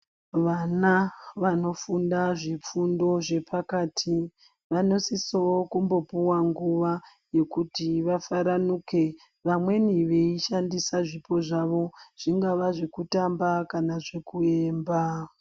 Vana vanofunda zvifundo zvepakati vanosisovo kumbopuva nguva yekuti vafaranuke. Vamweni veishandisa zvipo zvavo zvingava zvekutamba kana zvekuimba.